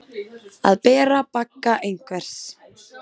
Að bera bagga einhvers